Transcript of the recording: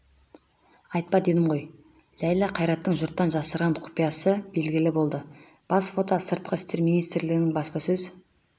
айтпа дедім ғой ләйлә қайраттың жұрттан жасырған құпиясы белгілі болды бас фото сыртқы істер министрлігінің баспасөз